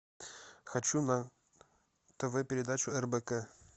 хочу на тв передачу рбк